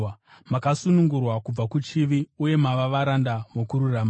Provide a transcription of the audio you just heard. Makasunungurwa kubva kuchivi uye mava varanda vokururama.